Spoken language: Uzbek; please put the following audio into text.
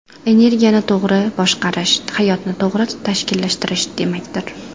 Energiyani to‘g‘ri boshqarish hayotni to‘g‘ri tashkillashtirish demakdir.